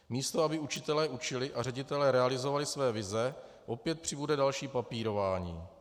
Místo aby učitelé učili a ředitelé realizovali své vize, opět přibude další papírování.